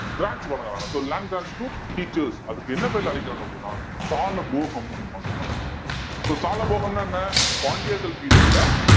to teachers அதுக்கு என்ன பேர்ல அழைக்கிறாங்க அப்படின்னா சாலபோகம் அப்படின்னு அழைக்கிறாங்க so சாலபோகம்ன்னா என்ன பாண்டியர்கள் period ல